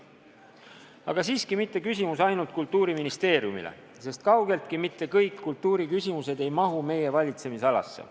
Aga siiski mitte küsimus ainult Kultuuriministeeriumile, sest kaugeltki mitte kõik kultuuriküsimused ei mahu meie valitsemisalasse.